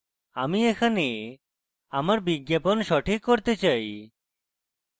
আমি এখানে আমার বিজ্ঞাপন সঠিক করতে চাই